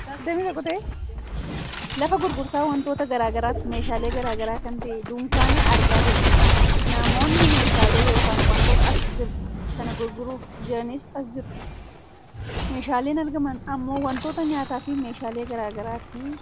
lafa gurgurtaa wantoota gara garaafi meeshalee gara garaa kan ta'e dunkaana argaa jirra. namoonni meeshaalee yookaan wantoota as jiru kana gurguruuf jiranis as jiru. Meeshaaleen argaman ammoo wantoota nyaataafi meeshaalee gara garaati.